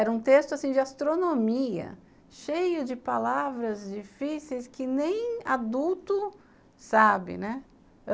Era um texto assim de astronomia, cheio de palavras difíceis que nem adulto sabe, né.